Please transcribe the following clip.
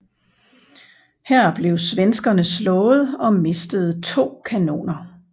Her blev svenskerne slået og mistede to kanoner